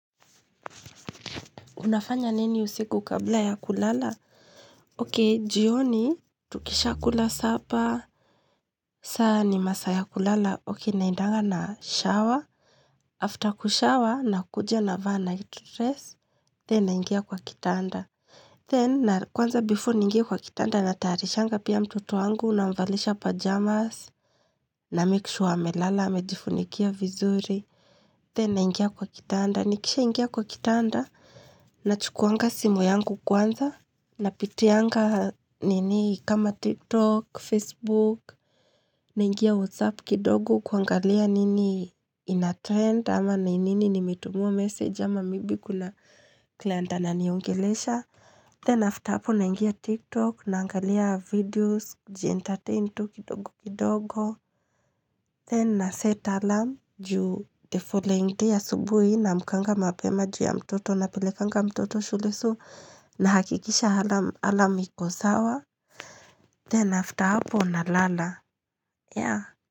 Unafanya nini usiku kabla ya kulala? Okay, jioni, tukishakula sapa. Saa ni masaa ya kulala. Okay, naendanga na shower. After kushawa, na kuja na vaa night dress. Then, naingia kwa kitanda. Then, na kwanza before niingia kwa kitanda, natayarishanga pia mtoto wangu, namvalisha pajamas, na make sure wamelala, amejifunikia vizuri. Then, na ingia kwa kitanda. Nikisha ingia kwa kitanda, na chukuanga simu yangu kwanza. Napitianga nini kama TikTok, Facebook, nangalia WhatsApp kidogo kuangalia nini ina trend ama nini nimetumiwa message ama maybe kuna client ananiongelesha. Then after hapo naingia tiktok na angalia videos jientairn nitu kidogo kidogo Then na set alam juu tthe following day asubuhi naamkanga mapema juu ya mtoto na pelekanga mtoto shule so nahakikisha alam alam ikosawa Then after hapo na lala ya.